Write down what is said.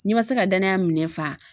N'i ma se ka danaya minɛ fa.